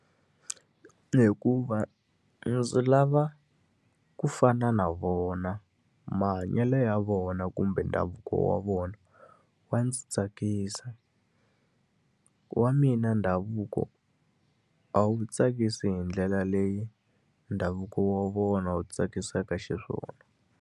Hikuva ndzi lava ku fana na vona. Mahanyelo ya vona kumbe ndhavuko wa vona wa ndzi tsakisa. Wa mina ndhavuko a wu tsakisi hi ndlela leyi ndhavuko wa vona wu tsakisaka xiswona.